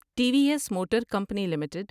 T V S motor company limited